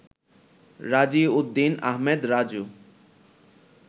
রাজি উদ্দিন আহমেদ রাজু